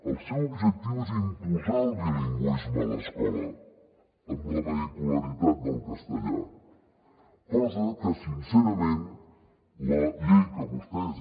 el seu objectiu és imposar el bilingüisme a l’escola amb la vehicularitat del castellà cosa que sincerament la llei que vostès